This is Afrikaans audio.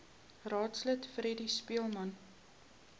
raadslid freddie speelman